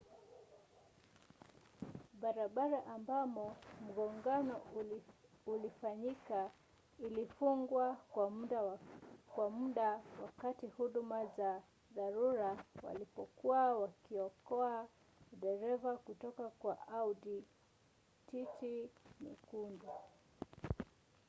barabara ambamo mgongano ulifanyika ilifungwa kwa muda wakati huduma za dharura walipokuwa wakiokoa dereva kutoka kwa audi tt nyekundu